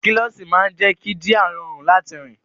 Kílọ́ṣì máa jé kí jíà rọrùn láti rí.